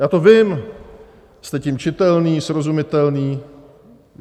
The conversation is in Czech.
Já to vím, jste tím čitelní, srozumitelní.